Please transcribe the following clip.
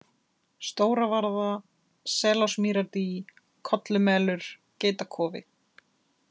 Stóravarða, Selásmýrardý, Kollumelur, Geitakofi